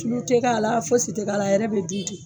Tulu tɛ k'a la fosi tɛ k'a la a yɛrɛ bɛ dun tɛ.